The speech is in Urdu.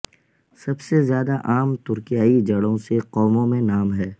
سب سے زیادہ عام ترکیائی جڑوں سے قوموں میں نام ہے